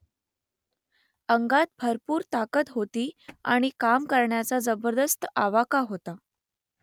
अंगात भरपूर ताकद होती आणि काम करण्याचा जबरदस्त आवाका होता